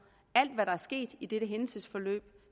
alt hvad der er sket i dette hændelsesforløb